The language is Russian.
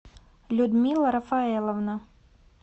людмила рафаэловна